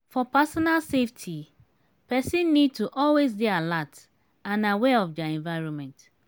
for personal safety person need to always dey alert and aware of their environment